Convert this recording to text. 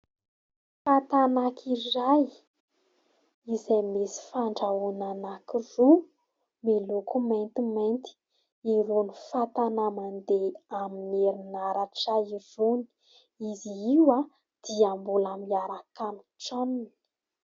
Fatana iray izay misy fandrahoana anankiroa miloko maintimainty. Irony fatana mandeha amin'ny herinaratra irony. Izy io dia mbola miaraka amin'ny tranony.